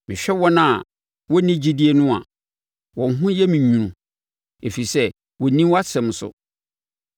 Mehwɛ wɔn a wɔnni gyidie no a, wɔn ho yɛ me nwunu, ɛfiri sɛ wɔnni wʼasɛm so.